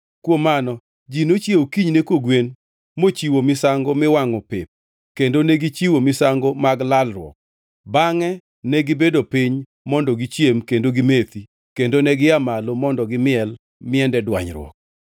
Kuom mano, ji nochiewo kinyne kogwen mochiwo misango miwangʼo pep kendo negichiwo misango mag lalruok. Bangʼe negibedo piny mondo gichiem kendo gimethi kendo negia malo mondo gimiel miende dwanyruok.